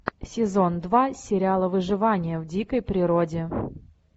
сезон два сериала выживание в дикой природе